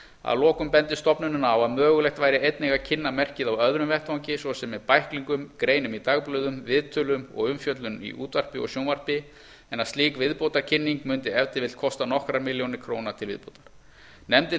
að lokum bendir stofnunin á að mögulegt væri einnig að kynna merkið á öðrum vettvangi svo sem með bæklingum greinum í dagblöðum viðtölum og umfjöllun í útvarpi og sjónvarpi en að slík viðbótarkynning mundi ef til vill kosta nokkrar milljónir króna til viðbótar nefndin